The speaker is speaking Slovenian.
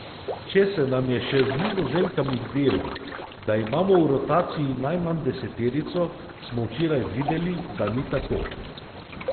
Če se nam je še z Nizozemkami zdelo, da imamo v rotaciji najmanj deseterico, smo včeraj videli, da ni tako.